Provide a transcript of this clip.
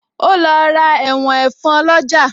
O lọ ra ẹ̀wọ̀n ẹ̀fọn lọ́jà